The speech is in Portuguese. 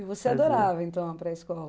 E você adorava, então, a pré-escola.